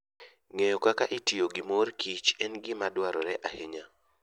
Ng'eyo kaka itiyo gi mor kich en gima dwarore ahinya.